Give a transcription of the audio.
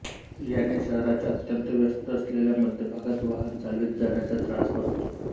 याने शहराच्या अत्यंत व्यस्त असलेल्या मध्यभागात वाहन चालवित जाण्याचा त्रास वाचतो